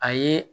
A ye